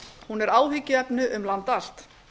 hún er áhyggjuefni um land allt